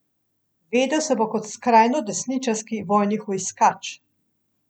Vedel se bo kot skrajnodesničarski vojni hujskač.